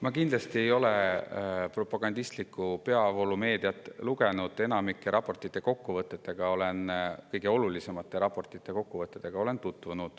Ma kindlasti ei ole propagandistlikku peavoolumeediat lugenud ning olen tutvunud kõige olulisemate ja enamiku raportite kokkuvõtetega.